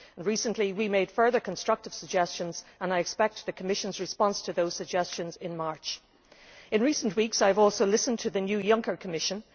Recently we made further constructive suggestions, and I expect the Commission's response to those suggestions in March. In recent weeks I have also listened to the new Juncker Commission.